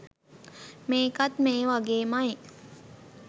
මේකත් මේ වගේමයි